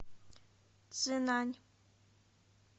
цзинань